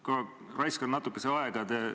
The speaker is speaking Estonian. Ma raiskan natuke aega.